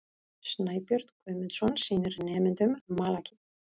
Snæbjörn Guðmundsson sýnir nemendum malakít.